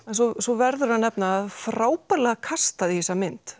svo svo verður að nefna frábærlega kastað í þessa mynd